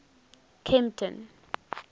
kempton